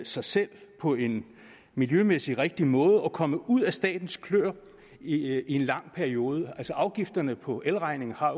sig selv på en miljømæssig rigtig måde og komme ud af statens kløer i en lang periode altså afgifterne på elregningen er